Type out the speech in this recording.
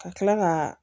Ka kila ka